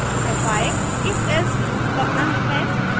fi ifelse loop का अंत है